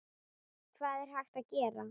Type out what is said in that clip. Hvað er hægt að gera?